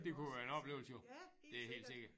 Det kunne være en oplevelse jo det er helt sikkert